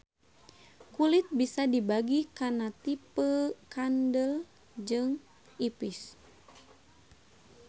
Kulit bisa dibagi kana tipeu kandel jeung ipis.